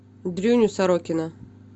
дрюню сорокина